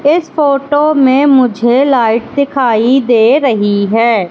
इस फोटो में मुझे लाइट दिखाई दे रही है।